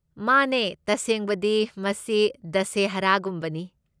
ꯃꯥꯅꯦ, ꯇꯁꯦꯡꯕꯗꯤ, ꯃꯁꯤ ꯗꯁꯦꯍꯔꯥꯒꯨꯝꯕꯅꯤ꯫